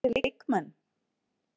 Þarftu fleiri leikmenn?